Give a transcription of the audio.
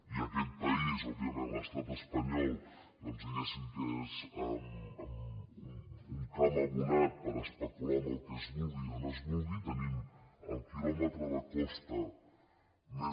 i aquest país òbviament l’estat espanyol diguem que és un camp abonat per especular amb el que es vulgui i on es vulgui tenim el quilòmetre de costa més